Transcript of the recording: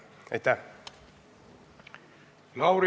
Aitäh!